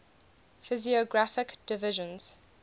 physiographic divisions